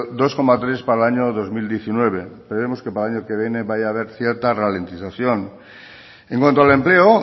dos coma tres para el año dos mil diecinueve esperemos que para el año que viene vaya a ver cierta ralentización en cuanto al empleo